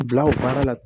Bila o baara la